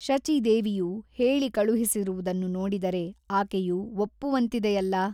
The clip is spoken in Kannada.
ಶಚೀದೇವಿಯು ಹೇಳಿಕಳುಹಿಸಿರುವುದನ್ನು ನೋಡಿದರೆ ಆಕೆಯು ಒಪ್ಪುವಂತಿದೆಯಲ್ಲಾ?